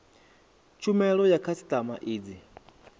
tshumelo ya khasitama i dzi